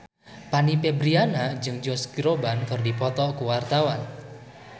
Fanny Fabriana jeung Josh Groban keur dipoto ku wartawan